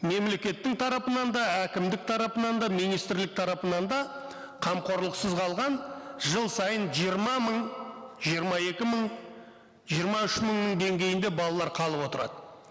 мемлекеттің тарапынан да әкімдік тарапынан да министрлік тарапынан да қамқорлықсыз қалған жыл сайын жиырма мың жиырма екі мың жиырма үш мыңның деңгейінде балалар қалып отырады